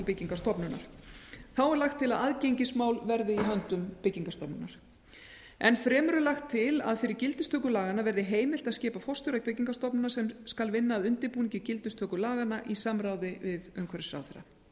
byggingarstofnunar þá er lagt til að aðgengismál verði í höndum byggingarstofnunar enn fremur er lagt til að fyrir gildistöku laganna verði heimilt að skipa forstjóra byggingarstofnunar sem skal vinna að undirbúningi gildistöku laganna í samráði við umhverfisráðherra í frumvarpinu er